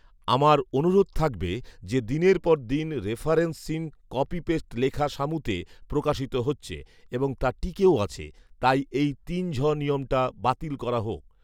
আমার অনুরোধ থাকবে যে, দিনের পর দিন রেফারেন্সহীন কপি পেস্ট লেখা সামুতে প্রকাশিত হচ্ছে এবং তা টিকেও আছে। তাই এই তিন ঝ নিয়মটা বাতিল করা হোক